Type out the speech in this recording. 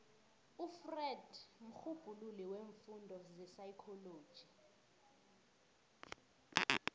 ufreud mrhubhululi weemfundo zepsychology